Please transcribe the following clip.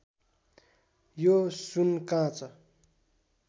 यो सुन काँच